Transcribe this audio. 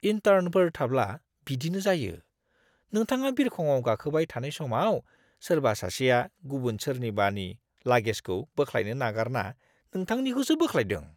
इन्टार्नफोर थाब्ला बिदिनो जायो। नोंथाङा बिरखंआव गाखोबाय थानाय समाव सोरबा सासेआ गुबुन सोरनिबानि लागेजखौ बोख्लायनो नागारना नोंथांनिखौसो बोख्लायदों।